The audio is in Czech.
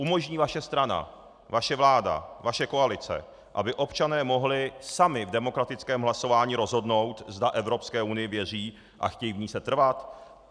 Umožní vaše strana, vaše vláda, vaše koalice, aby občané mohli sami v demokratickém hlasování rozhodnout, zda Evropské unii věří a chtějí v ní setrvat?